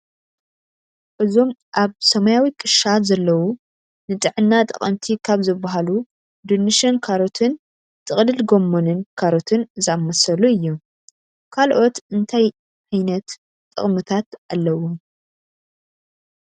እዞም ኣብ ሰማያዊ ክሻ ዘለው ንጥዕና ጠቀምቲ ካብ ዝብሃሉ ዱንሽን ካሮትንጥቅልል ጎመንን ካሮትን ዝኣመሰሉ እዮም። ካልኦት እንታይ እንታይ ዓይነት ጥቅምታት ኣለዎም?